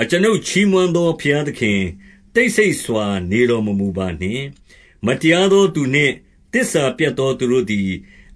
အကျွန်ုပ် ချီးမွမ်းသော ဘုရားသခင်၊ တိတ် ဆိတ်စွာနေတော်မမူပါနှင့်။ 2 မတရားသောသူနှင့် သစ္စာပျက်သော သူတို့ သည်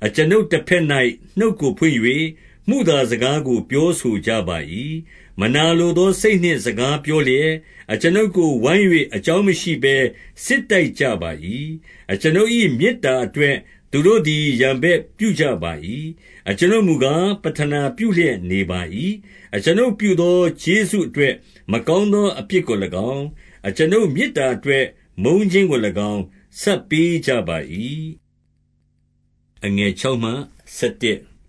အကျွန်ုပ်တဘက်၌နှုတ်ကိုဖွင့်၍၊ မုသားစကားကို ပြောဆိုကြပါ၏။ 3 မနာလိုသောစိတ်နှင့် စကားပြောလျက်၊ အကျွန်ုပ်ကိုဝိုင်း၍ အကြောင်းမရှိဘဲ စစ်တိုက်ကြပါ၏။ 4 အကျွန်ုပ်၏ မေတ္တာအတွက် သူတို့သည် ရန်ဘက်ပြုကြပါ၏။ အကျွန်ုပ်မူကား ပဌနာပြုလျက် နေပါ၏။ 5 အကျွန်ုပ်ပြုသော ကျေးဇူးအတွက် မကောင်း သောအပြစ်ကို၎င်း၊ အကျွန်ုပ်မေတ္တာအတွက် မုန်းခြင်းကို ၎င်း ဆပ်ပေးကြပါ၏။ 6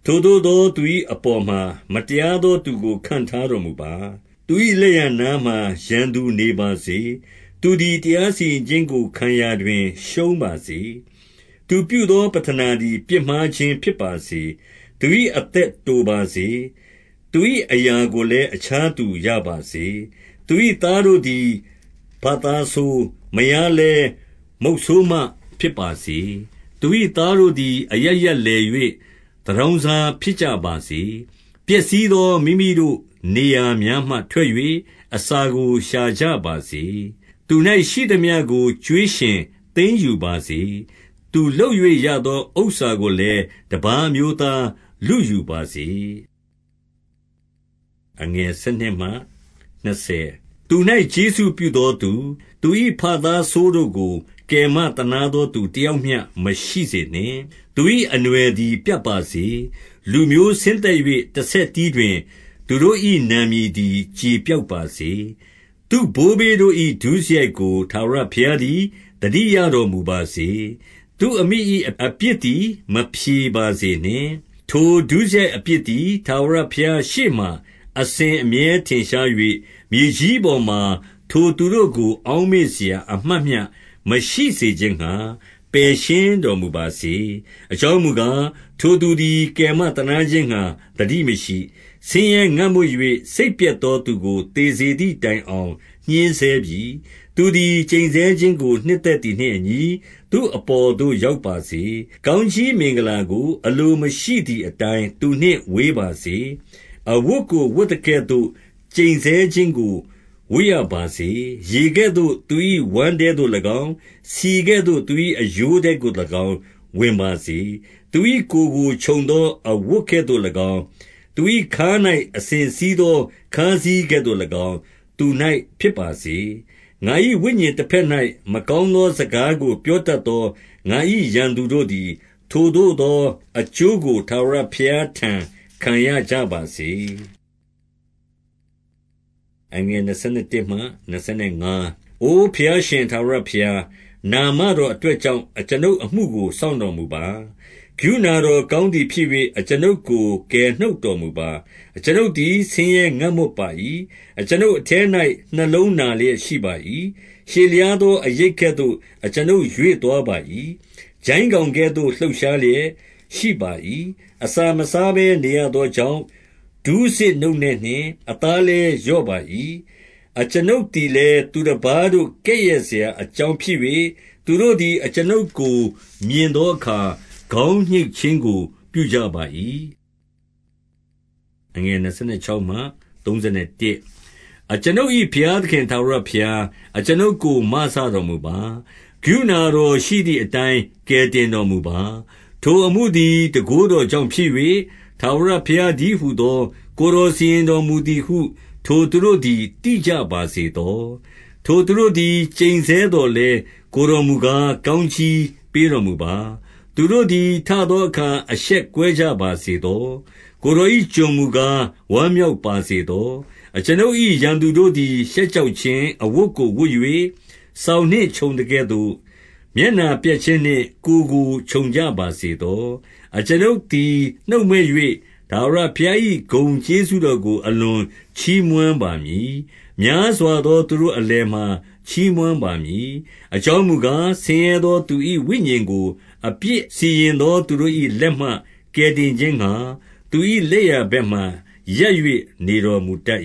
ထိုသို့သော သူ၏အပေါ်မှာ မတရားသောသူကို ခန့်ထားတော်မူပါ။ သူ၏လက်ျားနားမှာ ရန်သူနေပါစေ။ 7 သူသည် တရားစီရင်ခြင်းကို ခံရာတွင်ရှုံးပါစေ။ သူပြုသော ပဌနာသည် ပြစ်မှားခြင်းဖြစ်ပါစေ။ 8 သူ၏အသက်တိုပါစေ။ သူ၏အရာကိုလည်း အခြားသူရပါစေ။ 9 သူ၏သားတို့သည် ဘသားဆိုး၊ မယားလည်း မုတ်ဆိုးမဖြစ်ပါစေ။ 10 သူ၏သားတို့သည် အရပ်ရပ်လည်၍ သူတောင်း စား ဖြစ်ကြပါစေ။ ပျက်စီးသော မိမိတို့နေရာများမှ ထွက်၍၊ အစာကိုရှာကြပါစေ။ 11 သူ၌ရှိသမျှကို ကြွေးရှင်သိမ်းယူပါစေ။ သူလုပ် ၍ရသော ဥစ္စာကိုလည်း တပါးအမျိုးသား လုယူပါစေ။ 12 သူ၌ကျေးဇူးပြုသောသူ၊ သူ၏ဘသားဆိုး တို့ကို ကယ်မသနားသောသူ တယောက်မျှ မရှိစေနှင့်။ 13 သူ၏အနွှယ်သည် ပြတ်ပါစေ။ လူမျိုးဆင်းသက် ၍ တဆက်တည်းတွင်၊ သူတို့၏ နာမည်သည် ကျေပျောက် ပါစေ။ 14 သူ့ဘိုးဘေးတို့၏ ဒုစရိုက်ကို ထာဝရဘုရား သည် သတိရတော်မူပါစေ။ သူ့အမိ၏ အပြစ်သည် မဖြေပါစေနှင့်။ 15 ထိုဒုစရိုက်အပြစ်သည် ထာဝရဘုရားရှေ့မှာ အစဉ်အမြဲ ထင်ရှား၍၊ မြေကြီးပေါ်မှာ ထိုသူတို့ကို အောက်မေ့စရာ အမှတ်မျှ မရှိစေခြင်းငှါ၊ ပယ်ရှင်းတော်မူ ပါစေ။ 16 အကြောင်းမူကား၊ ထိုသူသည် ကယ်မ သနားခြင်းငှါ သတိမရှိ။ ဆင်းရဲငတ်မွတ်၍ စိတ်ပျက် သောသူကို သေစေသည်တိုင်အောင် ညှဉ်းဆဲပြီ။ 17 သူသည် ကျိန်ဆဲခြင်းကို နှစ်သက်သည်နှင့်အညီ၊ သူ့အပေါ်သို့ ရောက်ပါစေ။ ကောင်းကြီးမင်္ဂလာကို အလိုမရှိသည်အတိုင်း သူနှင့်ဝေးပါစေ။ 18 အဝတ်ကို ဝတ်သကဲ့သို့ ကျိန်ဆဲခြင်းကို ဝတ်ရပါ စေ။ ရေကဲ့သို့ သူ၏ဝမ်းထဲသို့၎င်း၊ ဆီကဲ့သို့ သူ၏အရိုး ထဲသို့၎င်း ဝင်ပါစေ။ 19 သူ၏ကိုယ်ကိုခြုံသော အဝတ်ကဲ့သို့၎င်း၊ သူ၏ ခါး၌ အစဉ်စည်းသော ခါးစည်းကဲ့သို့၎င်း သူ၌ဖြစ်ပါစေ။ 20 ငါ၏ဝိညာဉ်တဘက်၌ မကောင်းသောစကားကို ပြောတတ်သော ငါ၏ရန်သူတို့သည် ထိုသို့သော အကျိုး ကို ထာဝရဘုရားထံ ခံရကြပါစေ။ 21 အိုဘုရားရှင် ထာဝရဘုရား၊ နာမတော်အတွက် ကြောင့် အကျွန်ုပ်အမှုကို စောင့်တော်မူပါ။ ကရုဏာတော် ကောင်းသည်ဖြစ်၍၊ အကျွန်ုပ်ကို ကယ်နှုတ်တော်မူပါ။ 22 အကျွန်ုပ်သည် ဆင်းရဲငတ်မွတ်ပါ၏။ အကျွန်ုပ် အထဲ၌ နှလုံးနာလျက်ရှိပါ၏။ 23 ရှည်လျားသော အရိပ်ကဲ့သို့ အကျွန်ုပ်ရွေ့သွား ပါ၏။ ကျိုင်းကောင်ကဲ့သို့ လှုပ်ရှားလျက်ရှိပါ၏။ 24 အစာမစားဘဲ နေရသောကြောင့်၊ ဒူးဆစ်နုန့်နဲ့ ၍ အသားလည်း လျော့ပါ၏။ 25 အကျွန်ုပ်သည်လည်း သူတပါးတို့ ကဲ့ရဲ့စရာ အကြောင်းဖြစ်၍၊ သူတို့သည် အကျွန်ုပ်ကို မြင်သော အခါ၊ ခေါင်းညှိတ်ခြင်းကို ပြုကြပါ၏။ 26 အကျွန်ုပ်၏ ဘုရားသခင်ထာဝရဘုရား၊ အကျွန်ုပ်ကို မစတော်မူပါ။ ကရုဏာတော်ရှိသည်အတိုင် ကယ်တင်တော်မူပါ။ 27 ထိုအမှုသည် တန်ခိုးတော်ကြောင့်ဖြစ်၍၊ ထာဝရဘုရားတည်းဟူသော ကိုယ်တော်စီရင်တော်မူ သည်ဟု ထိုသူတို့သည် သိကြပါစေသော။ 28 ထိုသူတို့သည် ကျိန်ဆဲသော်လည်း၊ ကိုယ်တော်မူကား ကောင်းကြီးပေးတော်မူပါ။ သူတို့သည် ထသောအခါ အရှက်ကွဲကြပါစေသော။ ကိုယ်တော်၏ ကျွန်မူကား၊ ဝမ်းမြောက်ပါစေသော။ 29 အကျွန်ုပ်၏ ရန်သူတို့သည် ရှက်ကြောက်ခြင်း အဝတ်ကိုဝတ်၍၊ စောင်နှင့်ခြုံသကဲ့သို့၊ မျက်နှာပျက်ခြင်း နှင့် ကိုယ်ကိုခြုံကြပါစေသော။ 30 အကျွန်ုပ်သည် နှုတ်မြွက်၍၊ ထာဝရဘုရား၏ ဂုဏ်ကျေးဇူးတော်ကို အလွန်ချီးမွမ်းပါမည်။ များစွာသော သူတို့အလယ်မှာ ချီးမွမ်းပါမည်။ 31 အကြောင်းမူကား၊ ဆင်းရဲသောသူ၏ ဝိညာဉ်ကို အပြစ်စီရင်သော သူတို့၏လက်မှ ကယ်တင်ခြင်းငှါ၊ သူ၏လက်ျာဘက်မှာရပ်၍ နေတော်မူတတ်